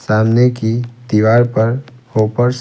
सामने की दीवार पर --